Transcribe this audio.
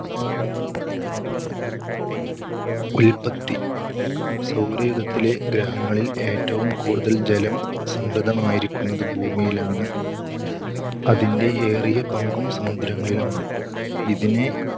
ഉൽപ്പത്തി. സൗരയൂഥത്തിലെ ഗ്രഹങ്ങളിൽ ഏറ്റവും കൂടുതൽ ജലം സംഭൃതമായിരിക്കുന്നത് ഭൂമിയിലാണ്. അതിന്‍റെ ഏറിയ പങ്കും സമുദ്രങ്ങളിലുമാണ്. ഇതിനെ